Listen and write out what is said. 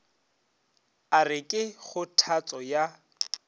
a re ke kgothatšo ya